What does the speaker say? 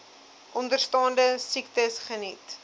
onderstaande siektes geniet